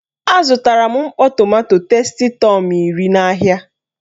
A zụtara m mkpọ tomanto testitọm iri n'ahịa.